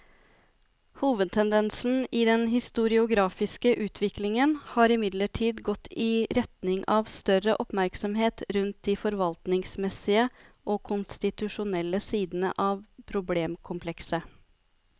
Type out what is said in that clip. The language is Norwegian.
Hovedtendensen i den historiografiske utviklingen har imidlertid gått i retning av større oppmerksomhet rundt de forvaltningsmessige og konstitusjonelle sidene av problemkomplekset.